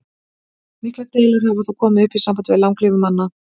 Miklar deilur hafa þó komið upp í sambandi við langlífi manna.